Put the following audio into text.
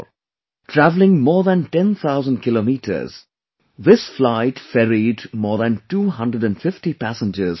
Travelling more than ten thousand kilometres, this flight ferried more than two hundred and fifty passengers to India